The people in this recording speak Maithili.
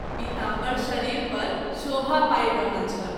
पिताम्बर शरीर पर शोभा पावि रहल छल।